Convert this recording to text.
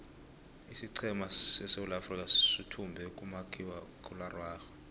isiqhema seswulaafrikha suthumbo kumakhakhuiwa araxhwe